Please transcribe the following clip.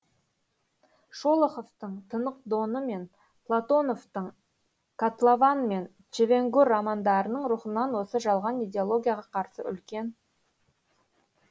шолоховтың тынық доны мен платоновтың котлован мен чевенгур романдарының рухынан осы жалған идеологияға қарсы үлкен